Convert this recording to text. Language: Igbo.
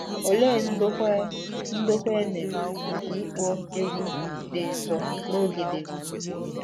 Olee ndokwa e ndokwa e mere maka ịkpọ egwú dị nsọ n’oge Devid?